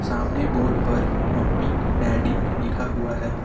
सामने बोर्ड पर mummy daddy लिखा हुआ है।